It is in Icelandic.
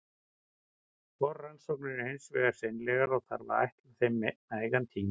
Forrannsóknir eru hins vegar seinlegar, og þarf að ætla þeim nægan tíma.